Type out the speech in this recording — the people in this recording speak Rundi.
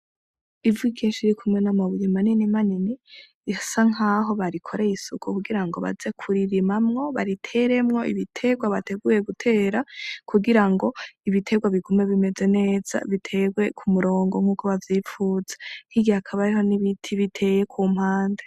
Ivu ryinshi ririkumwe namabuye manini manini risa nkaho barikoreye isuku kugirango baze kuririmamwo bariteremwo ibiterwa bateruye gutera kugirango ibiterwa bigume bimeze neza biterwe k'umurongo nkuko bavyipfuza hirya hakaba hariho nibiti bitewe kumpande.